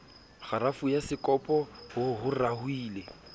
kgarafu ya sekopo ho raohile